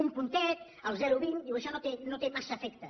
un puntet el zero coma vint diu això no té massa efecte